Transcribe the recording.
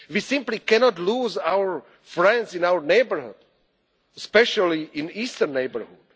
and integrated Europe. We simply cannot lose our friends in our neighbourhood, especially in the